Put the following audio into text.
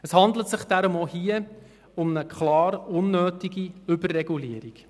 Es handelt sich deshalb auch hier um eine klar unnötige Überregulierung.